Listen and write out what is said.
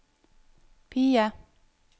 PIE